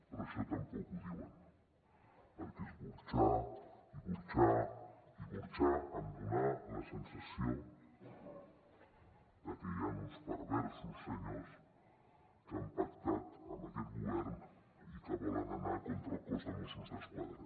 però això tampoc ho diuen perquè és burxar i burxar i burxar en donar la sensació de que hi han uns perversos senyors que han pactat amb aquest govern i que volen anar contra el cos de mossos d’esquadra